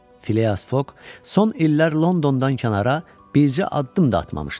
Fileas Foq son illər Londondan kənara bircə addım da atmamışdı.